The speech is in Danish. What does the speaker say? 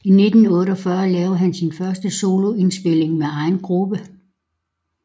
I 1948 lavede han sin første solo indspilning med egen gruppe